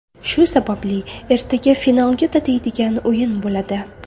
Shu sababli ertaga finalga tatiydigan o‘yin bo‘ladi.